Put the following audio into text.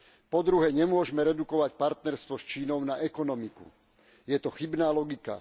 Po druhé, nemôžeme redukovať partnerstvo s Čínou na ekonomiku, je to chybná logika.